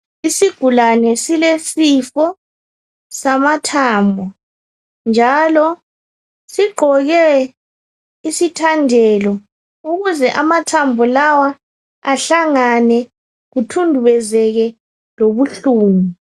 Isigulane silesifo samathambo, njalo sigqoke isithandelo ukuze amathambo lawa ahlangane, kuthundubezeke lobuhlungu.